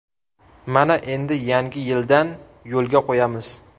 Mana endi yangi yildan yo‘lga qo‘yamiz.